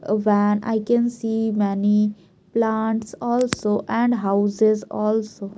A Van I can see many plants also and houses also.